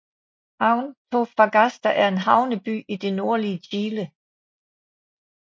Antofagasta er en havneby i det nordlige Chile